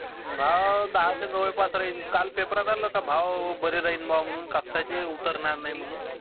भाव जवळपास राहीन. काळ पेपरात आलं होत कि भाव बरे जाईन ब्वा कापसाचे उतरणार नाही म्हणून.